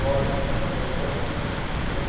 Hora escorregando, hora se se equilibrando.